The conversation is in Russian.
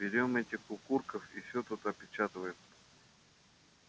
берём этих укурков и всё тут опечатываем